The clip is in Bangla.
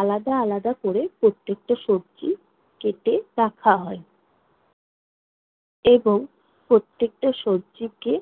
আলাদা আলাদা কোরে প্রত্যেকটা সবজি কেটে রাখা হয় এবং প্রত্যেকটা সবজিকে